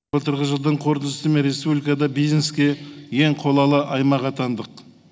былтырғы жылдың қорытындысымен республикада бизнеске ең қолайлы аймақ атандық